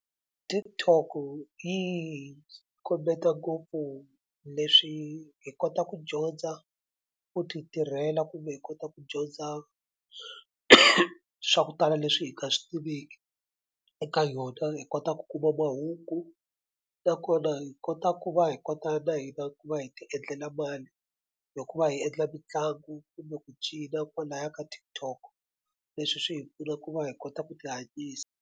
TikTok yi kombeta ngopfu leswi hi kota ku dyondza ku ti tirhela kumbe hi kota ku dyondza swa ku tala leswi hi nga swi tiveki eka yona hi kota ku kuma mahungu nakona hi kota ku va hi kota na hina ku va hi ti endlela mali hi ku va hi endla mitlangu kumbe ku cina kwalaya ka TikTok leswi swi hi pfuna ku va hi kota ku tihanyisa.